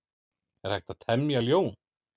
Er hægt að temja ljón?